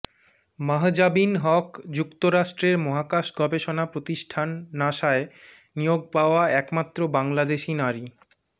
মাহজাবীন হক যুক্তরাষ্ট্রের মহাকাশ গবেষণা প্রতিষ্ঠান নাসায় নিয়োগ পাওয়া একমাত্র বাংলাদেশি নারী